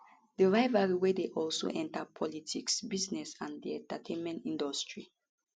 di rivalry wey don also enta politics business and di entertainment industry